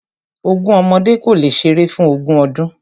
Ogún ọmọdé kò le ṣeré fún ogún ọdún.